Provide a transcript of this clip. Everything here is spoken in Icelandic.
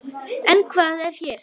En hvað er hér?